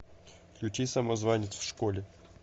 включи самозванец в школе